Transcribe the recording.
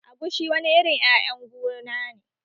Agushi wani irin ƴaƴan guna ne